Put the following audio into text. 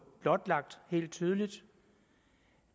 blotlagt helt tydeligt